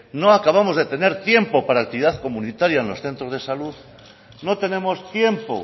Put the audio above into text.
no acabamos de tener tiempo para actividad comunitaria en los centros de salud no tenemos tiempo